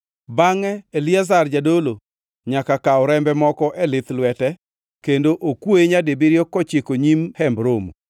Bangʼe Eliazar jadolo nyaka kaw rembe moko e lith lwete kendo okwoye nyadibiriyo kochiko nyim Hemb Romo.